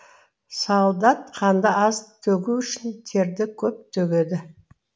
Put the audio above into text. солдат қанды аз төгу үшін терді көп төгеді